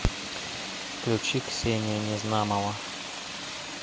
включи ксения незнамова